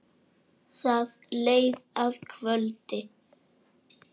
Það leið að kvöldi.